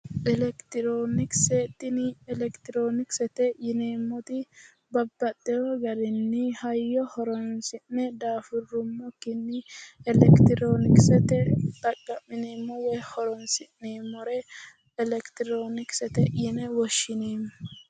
Elekitirionikise tini elekitirionikisete yineeemmo woyte babbaxitino hayyo horonsi'ne daafuruummokkinni elekitirionikesetenni xaqa'mine woyi horonsi'neemmore Elekitirionikisete yinne woshshineemmo.